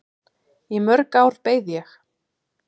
Í mörg ár beið ég.